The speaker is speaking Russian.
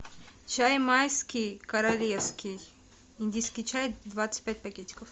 чай майский королевский индийский чай двадцать пять пакетиков